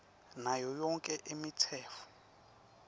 nayo yonkhe imitsetfo